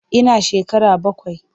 Ina shekara bakwai.